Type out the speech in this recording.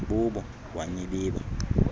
bubo wa nyibiba